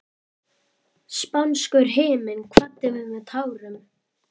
Spánskur himinn kvaddi mig með tárum.